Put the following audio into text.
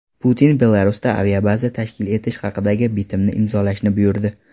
Putin Belarusda aviabaza tashkil etish haqidagi bitimni imzolashni buyurdi.